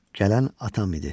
Gələn atam idi.